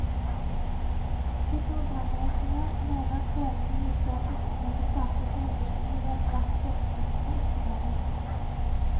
De to brannvesenene mener prøvene viser at viftene må startes øyeblikkelig ved et hvert togstopp i tunnelen.